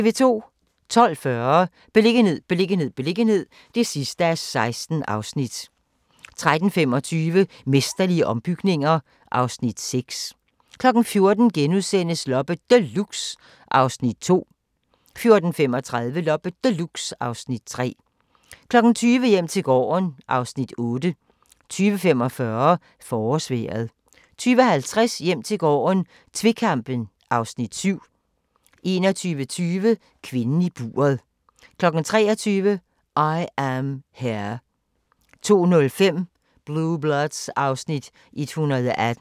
12:40: Beliggenhed, beliggenhed, beliggenhed (16:16) 13:25: Mesterlige ombygninger (Afs. 6) 14:00: Loppe Deluxe (Afs. 2)* 14:35: Loppe Deluxe (Afs. 3) 20:00: Hjem til gården (Afs. 8) 20:45: Forårsvejret 20:50: Hjem til gården - tvekampen (Afs. 7) 21:20: Kvinden i buret 23:00: I Am Here 02:05: Blue Bloods (Afs. 118)